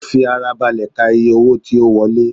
Ó fi ara balẹ̀ ka iye owó tí ó wọlé